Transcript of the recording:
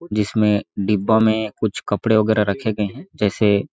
जिसमें डिब्बा में कुछ कपड़े वगैरा रखे गए हैं।